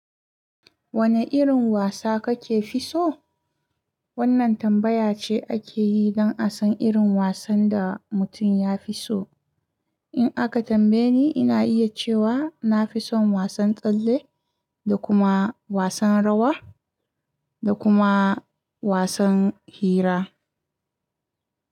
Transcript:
Wane irin wasa kake fi so? Wannan tambaya ce ake yi don a san irin wasan da mutum ya fi so. In aka tambaye ni, ina iya cewa na fi son wasan tsalle da kuma wasan rawa da kuma wasan hira.